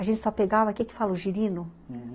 A gente só pegava... Que que fala o girino? Uhum.